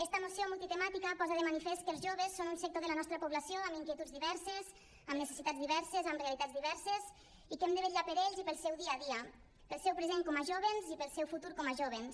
esta moció multitemàtica posa de manifest que els joves són un sector de la nostra població amb inquietuds diverses amb necessitats diverses amb realitats diverses i que hem de vetllar per ells i pel seu dia a dia pel seu present com a jóvens i pel seu futur com a jóvens